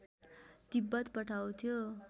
Tibet पठाउँथ्यो